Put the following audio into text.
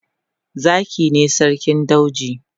Zaki ne sarkin dauji.